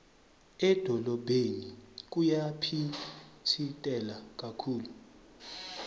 edolobheni kuyaphitsitela kakhulu